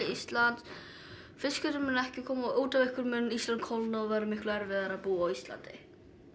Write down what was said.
Íslands fiskurinn mun ekki koma og út af einhverju mun Ísland kólna og verða miklu erfiðara að búa á Íslandi